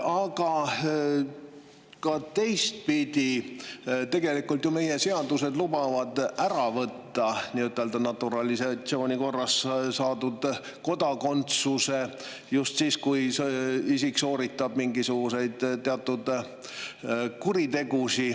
Aga ka teistpidi, tegelikult lubavad ju meie seadused võtta ära naturalisatsiooni korras saadud kodakondsuse just siis, kui see isik sooritab mingisugused teatud kuriteod.